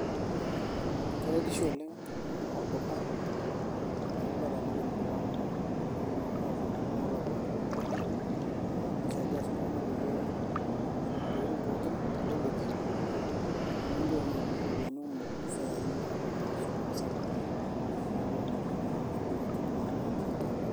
Keretisho oleng' naa olduka, teneeku ketaaniki emurua amu mitoki iltung'anak apuo iwuejiting' nelakwa, nisaidia si iltung'anak peyie etum intokiting' pookin teleleki, nimitoki na adung' iropiyiani kumok, ifeyai apuo naa osokoni sapuk, apuo aing'oru naa intokiting' naanyai tonkaulele.